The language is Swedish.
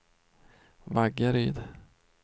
Vaggeryd